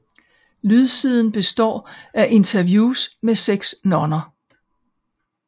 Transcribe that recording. Lydsiden består af interviews med seks nonner